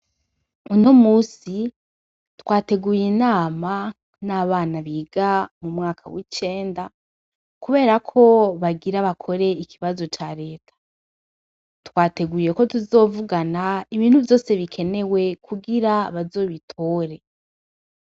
Uno munsi twateguye inama n'abana biga mu mwaka w'icenda, kubera ko bagira bakore ikibazo ca reta, twateguye ko tuzovugana ibintu vyose bikenewe kugira bazobitore.